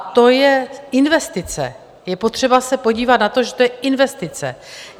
A to je investice, je potřeba se podívat na to, že to je investice.